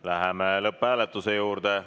Läheme lõpphääletuse juurde.